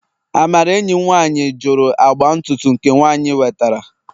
Amara enyim nwanyi juru agba ntutu nke nwanyi wetara